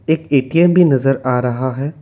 एक ए_टी_एम भी नजर आ रहा है।